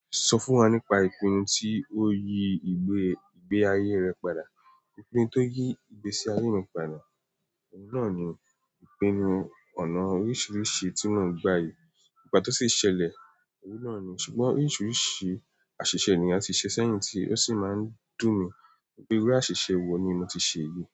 Sọ fún wa nípa ìpinnu tí o yí ìgbe ayé rẹ padà. Ìpinnu to yí ìgbésí ayé mi padà, ọ̀un náà ni ìpinnu ọ̀nà oríṣiríṣi tí mò ń gba yìí. Ìgbà tó ṣi ṣẹlẹ̀, ọ̀un náà ni. Ṣùgbọ́n oríṣiríṣi àṣìṣe ni a ti ṣe sẹ́yìn tí ó sì máa ń dùn mí. Iru àṣìṣe wo ni mo ti ṣe yìí?